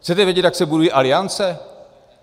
Chcete vědět, jak se budují aliance?